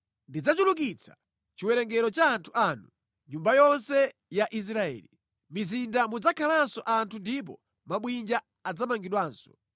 Ndidzachulukitsa chiwerengero cha anthu anu, nyumba yonse ya Israeli. Mʼmizinda mudzakhalanso anthu ndipo mabwinja adzamangidwanso.